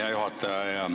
Hea juhataja!